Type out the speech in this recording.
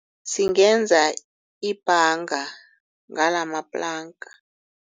Singenza ibhanga ngalamaplanka.